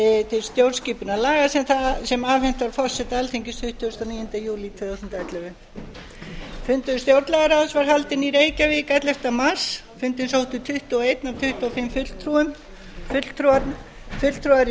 til stjórnskipunarlaga sem afhent var forseta alþingis tuttugasta og níunda júlí tvö þúsund og ellefu fundur stjórnlagaráðs var haldinn í reykjavík ellefta mars fundinn sóttu tuttugu og eitt af tuttugu og fimm fulltrúum fulltrúar í